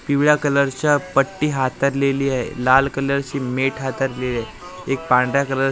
पिवळ्या कलरच्या पट्टी हातरलेली आहे लाल कलरची मेट हातरलेली आहे एक पांढऱ्या कलरची ब--